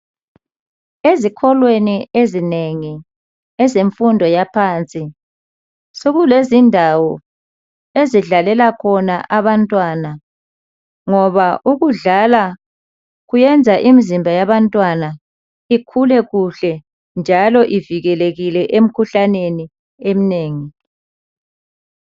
Ezikolweni ezinengi ezemfundo yaphansi. Sokulezindawo ezidlalela khona abantwana. Ngoba ukudlala kuyenza imizimba yabantwana ikhule kuhle njalo ivikelekile emkhuhlaneni emnengi.